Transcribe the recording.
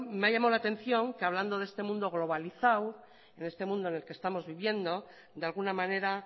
me ha llamada la atención que hablando de este mundo globalizado en este mundo en el que estamos viviendo de alguna manera